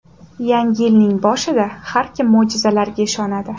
Yangi yilning boshida har kim mo‘jizalarga ishonadi.